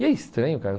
E é estranho, cara.